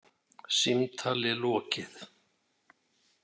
Símtali lokið.